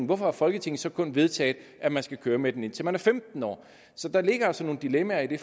hvorfor har folketinget så kun vedtaget at man skal køre med den indtil man er femten år så der ligger altså nogle dilemmaer i det